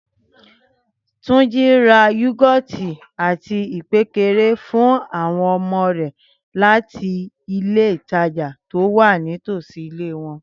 Túnjí ra yúgọ́tì àti ìpékeré fún àwọn ọmọ rẹ̀ láti Ilé-ìtajà tó wà ní tòsí ilé wọn